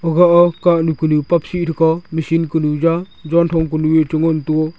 aga ah kah nyu kanu paap sih thega misin kanu ja jan thong kanu ye che ngan tega.